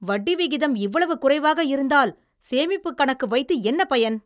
வட்டி விகிதம் இவ்வளவு குறைவாக இருந்தால் சேமிப்புக் கணக்கு வைத்து என்ன பயன்?